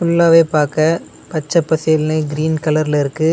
ஃபுல்லாவே பாக்க பச்ச பசேல்னு கிரீன் கலர்ல இருக்கு.